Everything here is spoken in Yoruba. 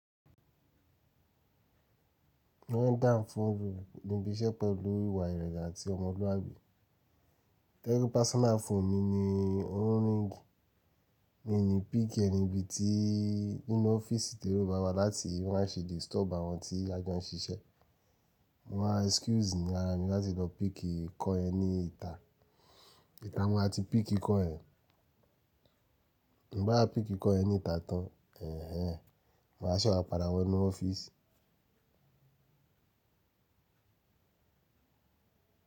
Wọ́n ń dáhùn fún òru níbi iṣẹ́ pẹ̀lú ìwà ìrẹ̀gà àti ọmọlúàbí. To jepe personal phone mi ni ó ń ring. Mi ní píkí ẹ nibí i tí nínú ọ́fíìsì tí ó rọ̀ bá wa láti má ṣe disturb àwọn tí ja jo n ṣíṣẹ́. Mo máa excuse ní ara mi láti lọ piki call yẹn ni ìta. Ìta mo má ti piki call yẹn. Ti m ba wa piki call yẹn nìta tán, ẹ̀hen, máa se wa pàdàwọ̀ nú ọ́fíìsì.